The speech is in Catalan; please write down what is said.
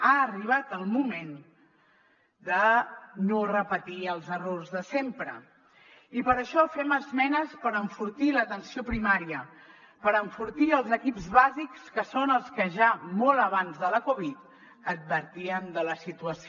ha arribat el moment de no repetir els errors de sempre i per això fem esmenes per enfortir l’atenció primària per enfortir els equips bàsics que són els que ja molt abans de la covid advertien de la situació